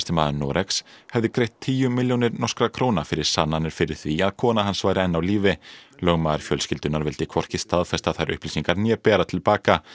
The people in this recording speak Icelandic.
maður Noregs hefði greitt tíu milljónir norskra króna fyrir sannanir fyrir því að kona hans væri enn á lífi lögmaður fjölskyldunnar vildi hvorki staðfesta þær upplýsingar né bera til baka